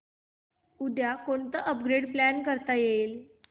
उद्या कोणतं upgrade plan करता येईल